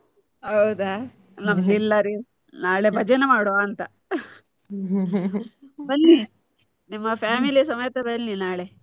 ಹೌದಾ ನಮ್ದು ಇಲ್ಲರೀ, ನಾಳೆ ಭಜನೆ ಮಾಡ್ವ ಅಂತ. ಬನ್ನಿ ನಿಮ್ಮ family ಸಮೇತ ಬನ್ನಿ ನಾಳೆ.